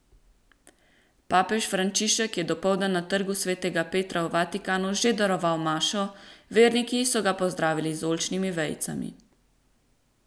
Papež Frančišek je dopoldan na Trgu svetega Petra v Vatikanu že daroval mašo, verniki so ga pozdravili z oljčnimi vejicami.